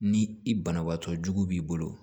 Ni i banabaatɔ jugu b'i bolo